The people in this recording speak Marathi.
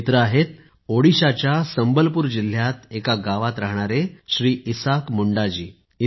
हे मित्र आहेत ओडिशाच्या संबलपूर जिल्ह्यात एका गावात राहणारे श्री इसाक मुंडा जी